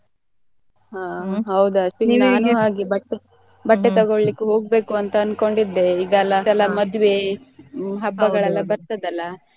ಆಹ್ ಹೌದು ನಾನು ಹಾಗೆ ಬಟ್ಟೆ ಬಟ್ಟೆ ತಗೋಳಿಕ್ಕೆ ಹೋಗ್ಬೇಕು ಅಂತ ಅನ್ಕೊಂಡ್ ಇದ್ದೆ ಈಗೇಲ ಮದ್ವೆ ಹಬ್ಬಗಳೆಲ್ಲ ಬರ್ತದೆ ಅಲ್ಲಾ.